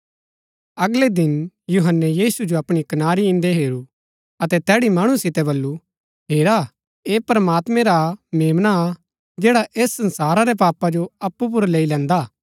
अगलै दिन यूहन्‍नै यीशु जो अपणी कनारी इन्दै हेरू अतै तैड़ी मणु सितै बल्लू हेरा ऐह प्रमात्मैं रा मेम्ना हा जैडा ऐस संसारा रै पापा जो अप्पु पुर लेई लैन्दा